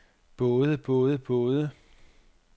både både både